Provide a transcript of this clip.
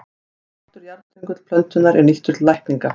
Svartur jarðstöngull plöntunnar er nýttur til lækninga.